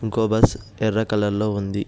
ఇంకో బస్సు ఎర్ర కలర్ లో ఉంది.